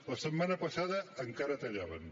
la setmana passada encara tallaven